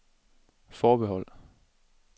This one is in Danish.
forbehold